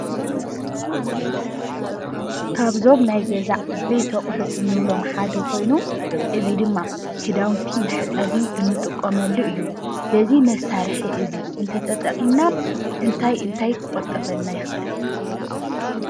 ካብዞም ናይ ገዛ ዓበይቲ አቑሑት እንብሎም ሓደ ኮይኑ፤ እዚ ድማ ክዳውንቲ ንመሕፀቢ እንጥቀመሉ እዩ፡፡ በዚ መሳርሒ እዚ ተተጠቂምና እንታይ እንታይ ክቁጠበልና ይክእል?